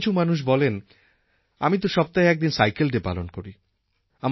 কিছু মানুষ বলেন আমি তো সপ্তাহে একদিন সাইকেল ডে পালন করি